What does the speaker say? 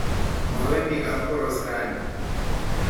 Mowendi kapkoros raini.